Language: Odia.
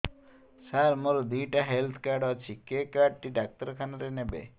ସାର ମୋର ଦିଇଟା ହେଲ୍ଥ କାର୍ଡ ଅଛି କେ କାର୍ଡ ଟି ଡାକ୍ତରଖାନା ରେ ନେବେ